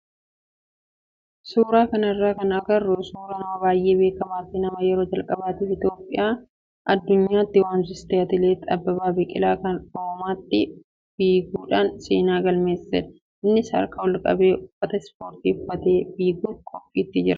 Suuraa kanarraa kan agarru suuraa nama baay'ee beekamaa fi nama yeroo calqabaatiif Itoophiyaa addunyaatti waamsise atileet Ababbaa Biqilaa kan Roomaatti fiiguudhaan seenaa galmeessisedha. Innis harkasaa ol qabee uffata ispoortii godhatee fiiguuf qophiitti jira.